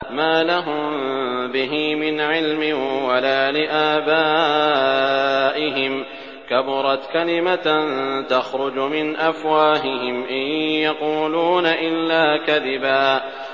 مَّا لَهُم بِهِ مِنْ عِلْمٍ وَلَا لِآبَائِهِمْ ۚ كَبُرَتْ كَلِمَةً تَخْرُجُ مِنْ أَفْوَاهِهِمْ ۚ إِن يَقُولُونَ إِلَّا كَذِبًا